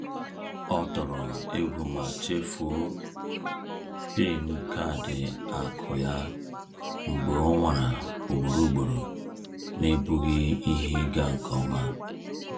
Ọ tọrọ egwu ma chefuo PIN kaadị akụ ya mgbe o nwara ugboro ugboro n’ebughị ihe ịga nke ọma.